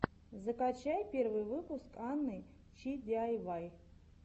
закачай первый выпуск анны чи диайвай